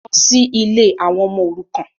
Lọ sí ilé àwọn ọmọ òrukàn.